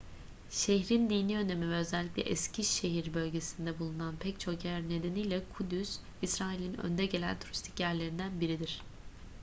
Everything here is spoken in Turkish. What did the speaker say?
şehrin dini önemi ve özellikle eski şehir bölgesinde bulunan pek çok yer nedeniyle kudüs i̇srail'in önde gelen turistik yerlerinden biridir